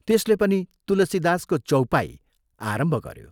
त्यसले पनि तुलसीदासको चौपाई आरम्भ गयो।